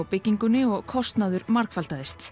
byggingunni og kostnaður margfaldaðist